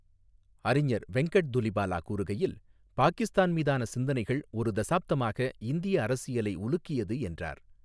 அறிஞர் வெங்கட் துலிபாலா கூறுகையில், பாகிஸ்தான் மீதான சிந்தனைகள் 'ஒரு தசாப்தமாக இந்திய அரசியலை உலுக்கியது' என்றார்.